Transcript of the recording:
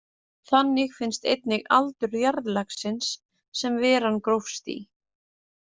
Þannig finnst einnig aldur jarðlagsins sem veran grófst í.